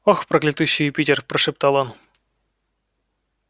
ох проклятущий юпитер прошептал он